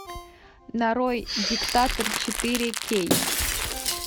нарой диктатор четыре кей